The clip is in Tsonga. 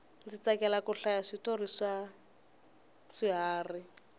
ndzi tsakela ku hlaya switori swa swiharhi